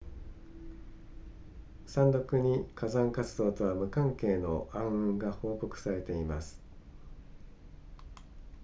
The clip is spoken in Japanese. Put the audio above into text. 山麓に火山活動とは無関係の暗雲が報告されています